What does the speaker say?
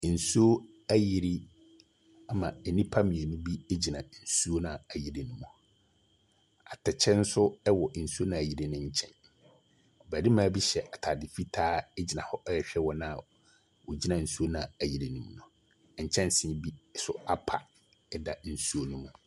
Nsuo ayiri ama nnipa mmienu bi gyina nsuo a ayiri ne mu. Atɛkyɛ nso wɔ nsuo no a ayiri ne nkyɛn. barima bi hyɛ ataade fitaa gyina hɔ ɛrehwɛ wɔn a wogyina nsuo no a ayiri ne mu. Nkyɛnse bi nso apa da nsuo ne mu.